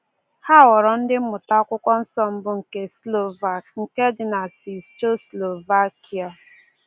Ha ghọrọ ndị mmụta Akwụkwọ Nsọ mbụ nke Slovak dị na Czechoslovakia.